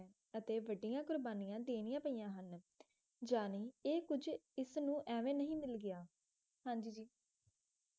ਜਾਣੀ ਇਸਨੂੰ ਇਹ ਕੁਝ ਐਵੇਂ ਨਹੀਂ ਮਿਲ ਗਿਆ ਹਾਂ ਜੀ ਜੀ